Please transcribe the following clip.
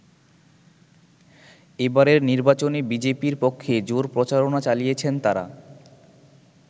এবারের নির্বাচনে বিজেপির পক্ষে জোর প্রচারণা চালিয়েছেন তারা।